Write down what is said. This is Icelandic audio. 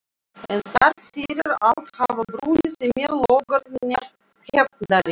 En þrátt fyrir allt hafa brunnið í mér logar hefndarinnar.